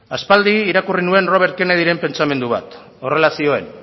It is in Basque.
aspaldi irakurri nuen robert kennedyren pentsamendu bat horrela zioen